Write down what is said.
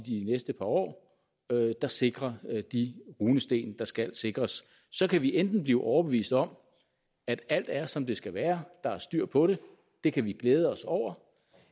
i de næste par år der sikrer de runesten der skal sikres så kan vi enten bliver overbevist om at alt er som det skal være at der er styr på det det kan vi glæde os over